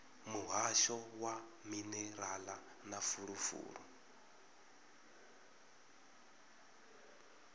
muhasho wa minerala na fulufulu